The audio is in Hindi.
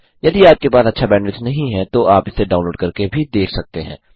यदि आपके पास अच्छा बैंडविड्थ नहीं है तो आप इसे डाउनलोड करके भी देख सकते हैं